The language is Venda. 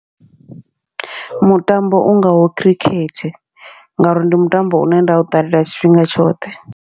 Mutambo u ngaho khirikhethe, ngauri ndi mutambo une nda u ṱalela tshifhinga tshoṱhe.